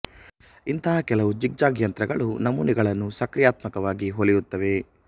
ಇಂಥ ಕೆಲವು zigzag ಯಂತ್ರಗಳು ನಮೂನೆಗಳನ್ನು ಸ್ವಕ್ರಿಯಾತ್ಮಕವಾಗಿ ಹೊಲಿಯುತ್ತವೆ